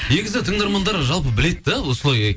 негізі тыңдармандар жалпы біледі де осылай